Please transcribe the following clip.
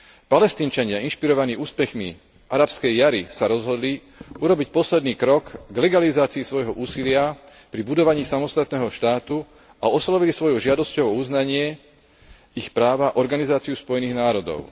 Palestínčania inšpirovaní úspechmi arabskej jari sa rozhodli urobiť posledný krok k legalizácii svojho úsilia pri budovaní samostatného štátu a oslovili svojou žiadosťou o uznanie ich práva Organizáciu Spojených národov.